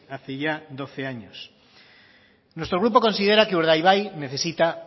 hace ya doce años nuestro grupo considera que urdaibai necesita